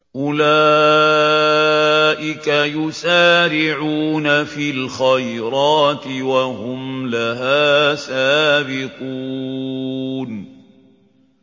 أُولَٰئِكَ يُسَارِعُونَ فِي الْخَيْرَاتِ وَهُمْ لَهَا سَابِقُونَ